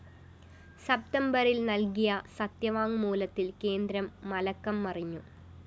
സപ്തംബറില്‍ നല്‍കിയ സത്യവാങ്മൂലത്തില്‍ കേന്ദ്രം മലക്കം മറിഞ്ഞു